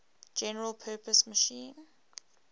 general purpose machine